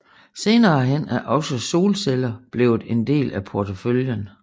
Senere hen er også solceller blevet en del af porteføljen